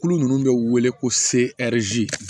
Kulu ninnu bɛ wele ko